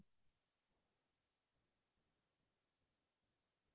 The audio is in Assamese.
তুমাৰ প্ৰিয় চিনেমা কিবা